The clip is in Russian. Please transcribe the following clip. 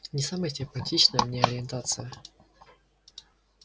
не самая симпатичная мне ориентация